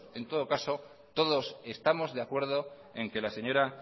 en todo caso todos estamos de acuerdo en que la señora